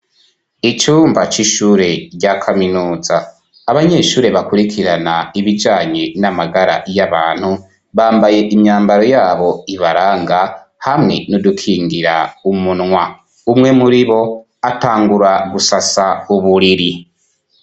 Icumba c'ishure rya kaminuza abanyeshure bakurikirana ibijanye n'amagara y'abantu bambaye imyambaro yabo ibaranga hamwe n'udukingira umunwa, umwe muri bo atangura gusasa uburiri